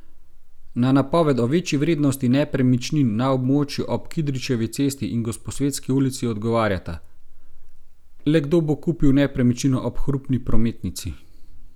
Na napoved o večji vrednosti nepremičnin na območju ob Kidričevi cesti in Gosposvetski ulici odgovarjata: 'Le kdo bo kupil nepremičnino ob hrupni prometnici?